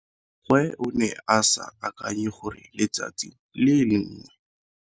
Gwe o ne a sa akanye gore letsatsi le lengwe.